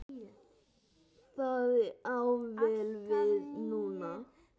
Það á vel við núna.